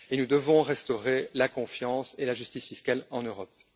Or, nous devons restaurer la confiance et la justice fiscale en Europe.